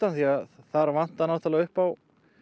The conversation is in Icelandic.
því þar vantar náttúrulega upp á